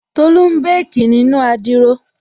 Tolú n békì nínu adiro